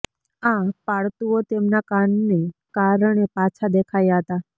આ પાળતુઓ તેમના કાનને કારણે પાછા દેખાયા હતા